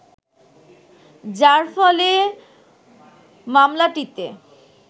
যার ফলে মামলাটিতে